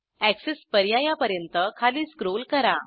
access पर्यायापर्यंत खाली scroll करा